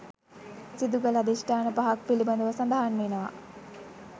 සිදුකළ අධිෂ්ඨාන පහක් පිළිබඳව සඳහන් වෙනවා.